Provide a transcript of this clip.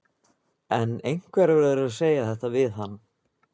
En einhver verður að segja þetta við hann.